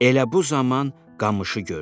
Elə bu zaman qamışı gördü.